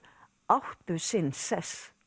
áttu sinn sess